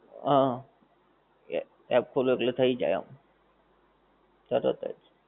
હા app ખોલો એટલે થઈ જાય એમ તરત જ.